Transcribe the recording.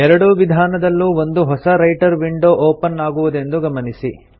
ಎರಡೂ ವಿಧಾನದಲ್ಲೂ ಒಂದು ಹೊಸ ರೈಟರ್ ವಿಂಡೊ ಒಪನ್ ಆಗುವುದೆಂದು ಗಮನಿಸಿ